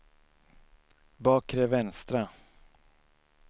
bakre vänstra